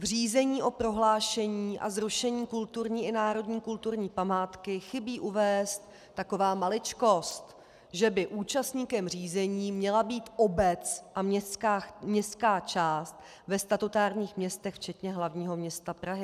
V řízení o prohlášení a zrušení kulturní i národní kulturní památky chybí uvést taková maličkost - že by účastníkem řízení měla být obec a městská část ve statutárních městech, včetně hlavního města Prahy.